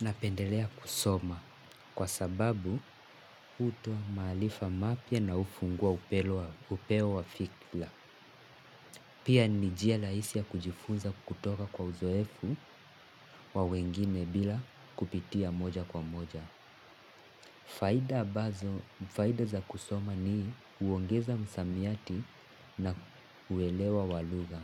Napendelea kusoma kwa sababu hutoa maarifa mapya na hufungua upeo wa fikra. Pia ni njia rahisi ya kujifunza kutoka kwa uzoefu wa wengine bila kupitia moja kwa moja. Faida za kusoma ni huongeza msamiati na uelewa wa lugha.